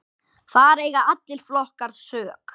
Þar eiga allir flokkar sök.